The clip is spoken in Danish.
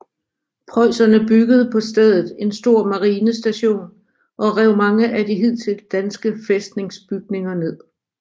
Preusserne byggede på stedet en stor marinestation og rev mange af de hidtil danske fæstningsbygninger ned